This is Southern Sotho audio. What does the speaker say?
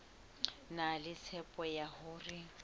na le tshepo ya hore